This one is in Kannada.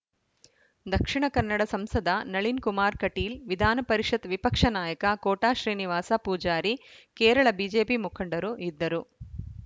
ದಕ್ಷಿಣ ಕನ್ನಡ ಸಂಸದ ನಳಿನ್‌ ಕುಮಾರ್‌ ಕಟೀಲ್‌ ವಿಧಾನ ಪರಿಷತ್‌ ವಿಪಕ್ಷ ನಾಯಕ ಕೋಟ ಶ್ರೀನಿವಾಸ ಪೂಜಾರಿ ಕೇರಳ ಬಿಜೆಪಿ ಮುಖಂಡರು ಇದ್ದರು